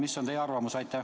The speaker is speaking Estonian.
Mis on teie arvamus?